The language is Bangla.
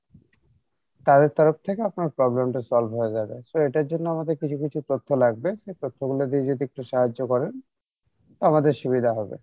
তাদের তরফ থেকে আপনার problem টা solve হয়ে যাবে so এটার জন্য আমাদের কিছু কিছু তথ্য লাগবে সেই তথ্য গুলো দিয়ে যদি একটু সাহায্য করেন আমাদের সুবিধা হবে